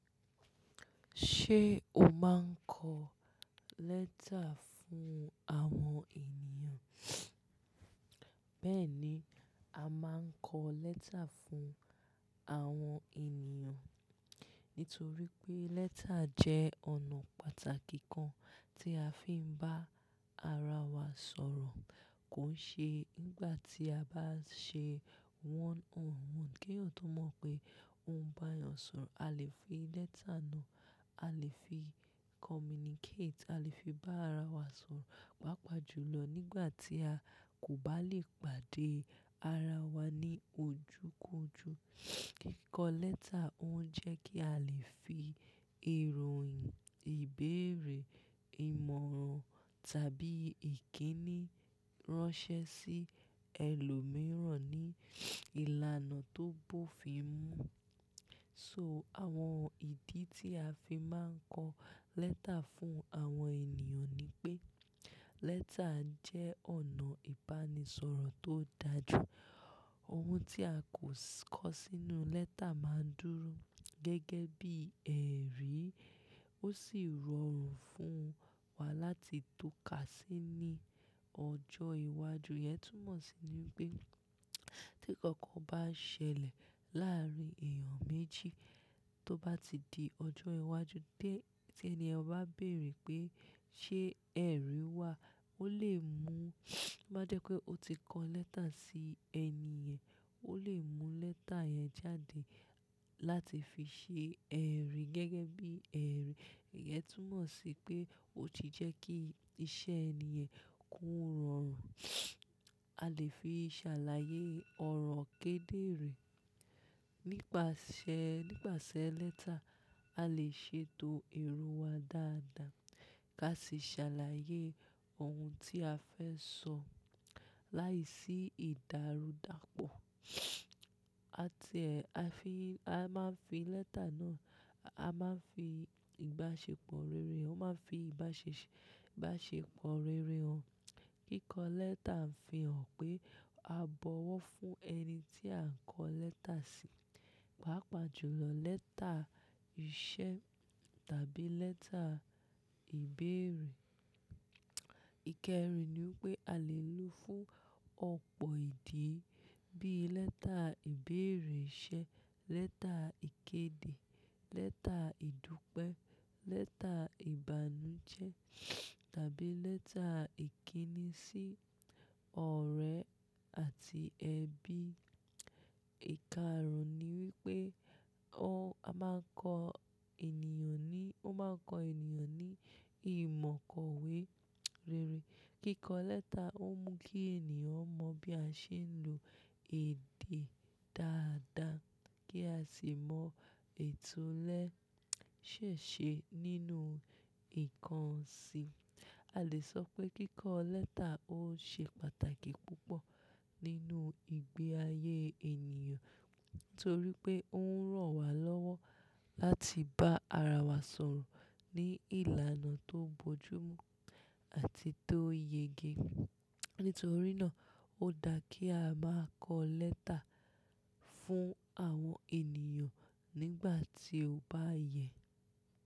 Ṣé o máa ń kọ lẹ́tà fún àwọn ènìyàn? Bẹ́ẹ̀ni, a máa ń kọ lẹ́tà fún àwọn ènìyàn nítorí pé lẹ́tà jẹ́ ọ̀nà pàtàkì kan tí a fi ń bá ara wa sọ̀rọ̀. Kò ṣe nígbà tí a bá ṣe one on one kí eeyan tọ̀ mọ̀ pé ó ń bá ẹeyan sọ̀rọ̀. A lè fi lẹ́tà náà, a lè fi communicate, a lè fi bá ara wa sọ̀rọ̀, pàápàá jùlọ nígbà tí a kò bá lè pàdé ara wa ní ojú kojú. Kíkọ lẹ́tà ó ń jẹ́ kí a lè fi ìròyìn, ìbéèrè, ìmọ̀ràn tàbí ìkíni ránṣẹ́ sí ẹlòmíràn ní ìlànà tó bófin mú. So àwọn ìdí tí a fi máa ń kọ lẹ́tà fún àwọn ènìyàn ni pé; lẹ́tà jẹ́ ọ̀nà ìbánisọ̀rọ̀ tó dára jù. Ohun tí a kò kọ sínú lẹ́tà máa dúró gẹ́gẹ́ bí ẹ̀rí, ó sì rọrùn fún wa láti tọ́ka sí ní ọjọ́ iwájú. Iyen tún mọ̀ sí ní pé tí ǹkankan bá ṣẹlẹ̀ láàárín èèyàn méjì tó bá ti di ọjọ́ iwájú dé, tí ẹni ọ̀ bá béèrè pé, "Ṣé ẹ̀rí wà?" Ó lè mú bá jẹ́ pé ó ti kọ lẹ́tà sí ẹni yẹ̀n, ó lè mú lẹ́tà yẹn jáde láti fi ṣe ẹ̀rí gẹ́gẹ́ bí ẹ̀rí. Ẹ tún mọ̀ sí pé ó ti jẹ́ kí iṣẹ́ ẹni yẹn kó rọrùn. A lè fi ṣàlàyé ọ̀rọ̀ kedere. Nípasẹ̀, nípasẹ̀ lẹ́tà, a lè ṣètò èrò wa dáadáa ká sì ṣàlàyé ohun tí a fẹ́ sọ láìsí ìdárudàpọ̀. A ti ẹ̀, a fi, a máa ń fi lẹ́tà náà, a máa ń fi ìbáṣepọ̀ rere, ó máa ń fi ìbáṣe- ìbáṣepọ̀ rere hàn. Kíkọ lẹ́tà ń fi hàn pé a bọwọ́ fún ẹni tí à ń kọ lẹ́tà sí. Pàápàá jùlọ lẹ́tà iṣẹ́ tàbí lẹ́tà ìbéèrè. Ìkẹrin ni wípé a lè lò ó fún ọ̀pọ̀ èdè bí lẹ́tà ìbéèrè iṣẹ́, lẹ́tà ìkéde, lẹ́tà ìdúpẹ́, lẹ́tà ìbànújẹ́ tàbí lẹ́tà ìkíni sí ọ̀rẹ́ àti ẹbí. Ìkarun ni wípé ó, a máa ń kọ ènìyàn ní, ó máa ń kọ ènìyàn ní ìmọ̀ kọ̀wé rere. Kíkọ lẹ́tà ó mú kí ènìyàn mọ bí a ṣe ń lo èdè dáadáa, kí a sì mọ ètò lẹ́ ṣẹ̀ ṣe nínú ìkan sí i. A lè sọ pé kíkọ lẹ́tà ó ṣe pàtàkì púpọ̀ nínú ìgbé ayé ènìyàn, nítorí pé ó ń ràn wá lọ́wọ́ láti bá ara wa sọ̀rọ̀ ní ìlànà tó bojúmu àti tó yege. Nítorí náà ó dà kí a máa kọ lẹ́tà fún àwọn ènìyàn nígbà tí ó bá yẹ.